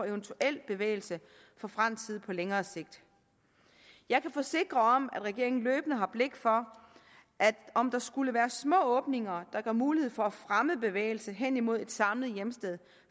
eventuel bevægelse fra fransk side på længere sigt jeg kan forsikre om at regeringen løbende har blik for om der skulle være små åbninger der giver mulighed for at fremme en bevægelse hen imod et samlet hjemsted